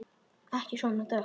Ekki svona dökkt.